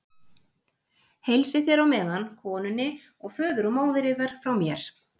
Heilsið þér á meðan konunni og föður og móðir yðar frá mér.